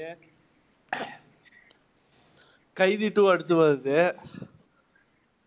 கைதி two அடுத்து வருது.